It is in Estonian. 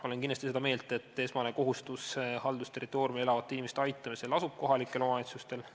Olen kindlasti seda meelt, et esmane kohustus haldusterritooriumil elavate inimeste aitamisel lasub kohalikel omavalitsustel.